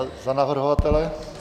A za navrhovatele?